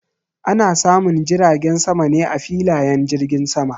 Ana samun jiragen sama ne a filayen jirgin sama.